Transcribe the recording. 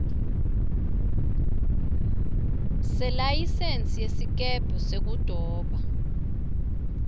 selayisensi yesikebhe sekudoba